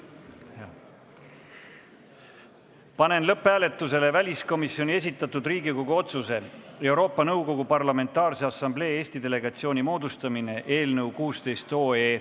Panen lõpphääletusele väliskomisjoni esitatud Riigikogu otsuse "Euroopa Nõukogu Parlamentaarse Assamblee Eesti delegatsiooni moodustamine" eelnõu.